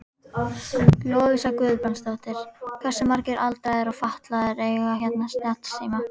Lovísa Guðbrandsdóttir: Hversu margir aldraðir og fatlaðir eiga hérna snjallsíma?